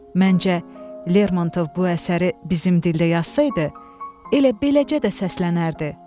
Məncə, Lermontov bu əsəri bizim dildə yazsaydı, elə beləcə də səslənərdi.